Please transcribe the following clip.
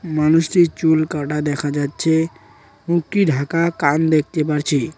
মানুষটির চুল কাটা দেখা যাচ্ছে মুখটি ঢাকা কান দেখতে পারছি।